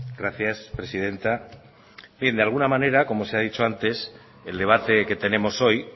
gracias presidenta bien de alguna manera como se ha dicho antes el debate que tenemos hoy